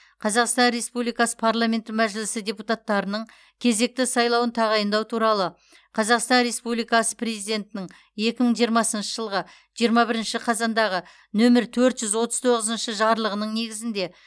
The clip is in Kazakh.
қазақстан республикасы парламенті мәжілісі депутаттарының кезекті сайлауын тағайындау туралы қазақстан республикасы президентінің екі мың жиырмасыншы жылғы жиырма бірінші қазандағы нөмірі төрт жүз отыз тоғыз жарлығының негізінде